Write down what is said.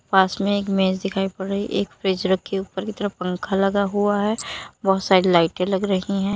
पास में एक मेज दिखाई पड़ रही एक फ्रिज रखी ऊपर की तरफ पंखा लगा हुआ है बहुत सारी लाइटे लग रही है।